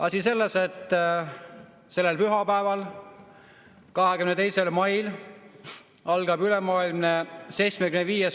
Asi on selles, et sellel pühapäeval, 22. mail algab 75.